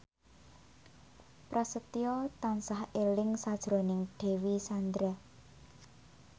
Prasetyo tansah eling sakjroning Dewi Sandra